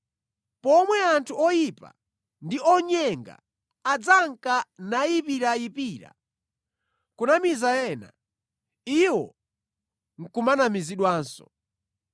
pomwe anthu oyipa ndi onyenga adzanka nayipirayipira, kunamiza ena, iwo nʼkumanamizidwanso.